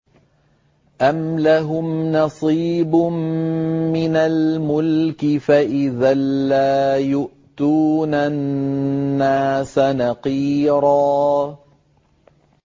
أَمْ لَهُمْ نَصِيبٌ مِّنَ الْمُلْكِ فَإِذًا لَّا يُؤْتُونَ النَّاسَ نَقِيرًا